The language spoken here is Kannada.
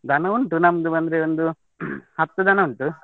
ದನ ಉಂಟು ನಮ್ದು ಅಂದ್ರೆ ಒಂದು, ಹತ್ತು ದನ ಉಂಟು.